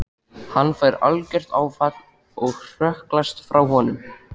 Hann fær algert áfall og hrökklast frá honum.